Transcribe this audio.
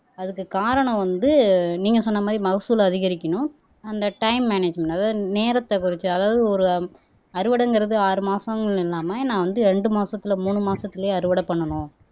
அதுக்கு காரணம் வந்து நீங்க சொன்ன மாதிரி மகசூல் அதிகரிக்கணும் அந்த டைம் மேனேஜ்மேண்ட் அதாவது நேரத்தை குறைச்சு அதாவது ஒரு அறுவடைங்கிறது ஆறு மாசம்ன்னு இல்லாம நான் வந்து ரெண்டு மாசத்துல மூணு மாசத்துலயே அறுவடை பண்ணணும்